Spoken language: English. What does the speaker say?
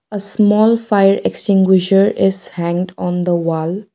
a small fire extinguisher is hanged on the wall.